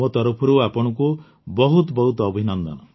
ମୋ ତରଫରୁ ଆପଣଙ୍କୁ ବହୁତ ବହୁତ ଅଭିନନ୍ଦନ